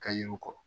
Ka yir'u kɔ